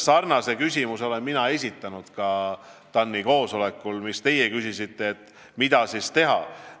Sarnase küsimuse olen mina esitanud ka TAN-i koosolekul, nagu teiegi küsisite, et mida siis teha.